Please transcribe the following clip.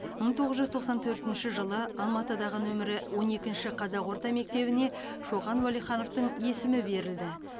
мың тоғыз жүз тоқсан төртінші жылы алматыдағы нөмірі он екінші қазақ орта мектебіне шоқан уәлихановтың есімі берілді